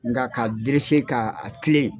Nga k'a derese ka a kilen